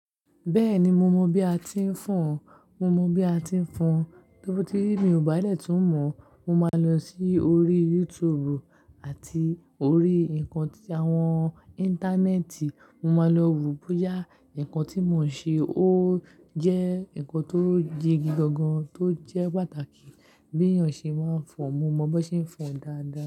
Bẹ́ẹ̀ni mo mọ bi a ti ń fọ̀n, mo mọ bi a ti ń fọ̀n. Lobooti mi ò bá lè tún mọ̀, mo máa lọ sí orí YouTube àti orí ǹkan tí àwọn Íńtánẹ́ẹ̀tì, mo máa lọ wo bóyá ǹkan tí mò ń ṣe ó jẹ́ ǹkan tó jigigangan tó jẹ́ pàtàkì bí èèyàn ṣe máa ń fọ̀n. Mo mọ bí wọ́n ṣe ń fọ̀n dáadáa.